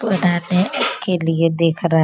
के लिए देख रहा --